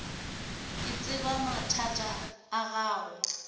ke tseba mathata a gago